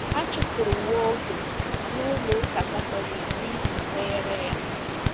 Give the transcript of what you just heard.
A chụpụrụ Waldo na Ụlọ Ụka Katọlik n’ihi nkwenyere ya.